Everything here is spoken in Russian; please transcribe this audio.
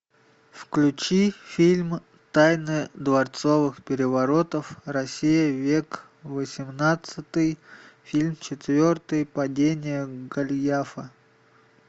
включи фильм тайны дворцовых переворотов россия век восемнадцатый фильм четвертый падение голиафа